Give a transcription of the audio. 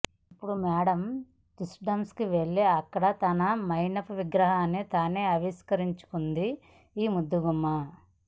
ఇప్పుడు Madame Tussauds వెళ్లి అక్కడ తన మైనపు విగ్రహాన్ని తానే ఆవిష్కరించుకుంది ఈ ముద్దుగుమ్మ